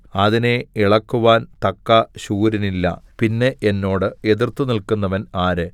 അതിനെ ഇളക്കുവാൻ തക്ക ശൂരനില്ല പിന്നെ എന്നോട് എതിർത്തുനില്ക്കുന്നവൻ ആര്